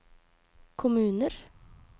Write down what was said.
kommuner